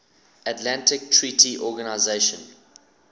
atlantic treaty organisation